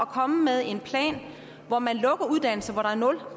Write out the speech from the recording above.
komme med en plan hvor man lukker uddannelser hvor der er nul